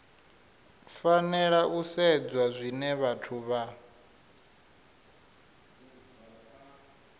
fanela u sedzwa zwine vhathu